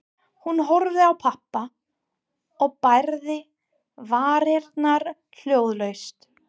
Hún horfði á pabba og bærði varirnar hljóðlaust.